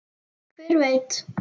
Hver veit